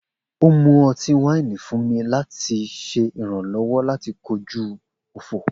O mu ọti-waini fun mi, lati ṣe iranlọwọ lati koju ọfọ